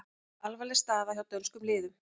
Alvarleg staða hjá dönskum liðum